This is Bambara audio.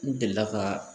N delila ka